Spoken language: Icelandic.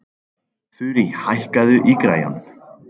Þurí, hækkaðu í græjunum.